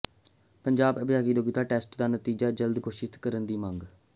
ਪੰਜਾਬ ਅਧਿਆਪਕ ਯੋਗਤਾ ਟੈੱਸਟ ਦਾ ਨਤੀਜਾ ਜਲਦ ਘੋਸ਼ਿਤ ਕਰਨ ਦੀ ਮੰਗ